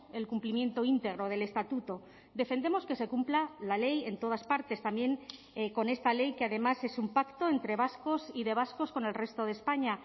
el cumplimiento íntegro del estatuto defendemos que se cumpla la ley en todas partes también con esta ley que además es un pacto entre vascos y de vascos con el resto de españa